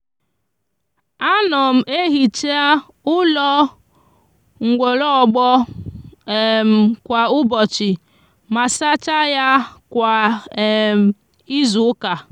a no m ehicha ulo nwologbo um kwa ubochi ma sacha ya kwa um izuuka.